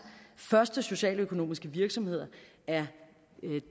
første socialøkonomiske virksomheder er